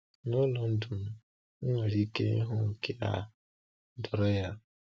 N’ụlọ ndụ m, m nwere ike ịhụ nke a doro anya.